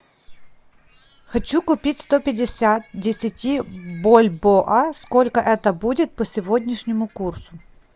хочу купить сто пятьдесят десяти бальбоа сколько это будет по сегодняшнему курсу